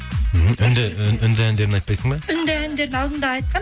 үнді әндерін айтпайсың ба үнді әндерін алдында айтқанмын